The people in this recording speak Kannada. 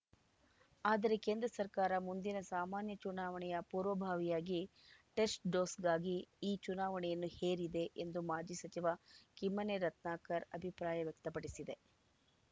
ಆದರೆ ಕೇಂದ್ರ ಸರ್ಕಾರ ಮುಂದಿನ ಸಾಮಾನ್ಯ ಚುನಾವಣೆಯ ಪೂರ್ವಭಾವಿಯಾಗಿ ಟೆಸ್ಟ್‌ಡೋಸ್‌ಗಾಗಿ ಈ ಚುನಾವಣೆಯನ್ನು ಹೇರಿದೆ ಎಂದು ಮಾಜಿ ಸಚಿವ ಕಿಮ್ಮನೆ ರತ್ನಾಕರ್‌ ಅಭಿಪ್ರಾಯ ವ್ಯಕ್ತಪಡಿಸಿದೆ